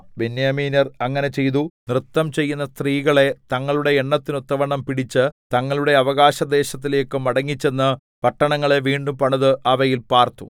ബെന്യാമീന്യർ അങ്ങനെ ചെയ്തു നൃത്തംചെയ്യുന്ന സ്ത്രീകളെ തങ്ങളുടെ എണ്ണത്തിന് ഒത്തവണ്ണം പിടിച്ച് തങ്ങളുടെ അവകാശ ദേശത്തിലേക്ക് മടങ്ങിച്ചെന്ന് പട്ടണങ്ങളെ വീണ്ടും പണിത് അവയിൽ പാർത്തു